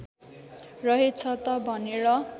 रहेछ त भनेर